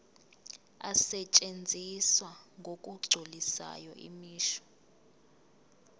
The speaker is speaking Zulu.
asetshenziswa ngokugculisayo imisho